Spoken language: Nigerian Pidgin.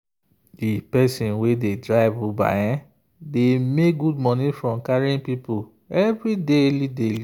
the person wey dey drive uber dey make good money from carrying people every day.